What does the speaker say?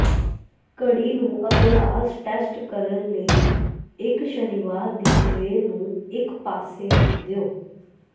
ਘੜੀ ਨੂੰ ਅਭਿਆਸ ਟੈਸਟ ਕਰਨ ਲਈ ਇਕ ਸ਼ਨੀਵਾਰ ਦੀ ਸਵੇਰ ਨੂੰ ਇਕ ਪਾਸੇ ਰੱਖ ਦਿਓ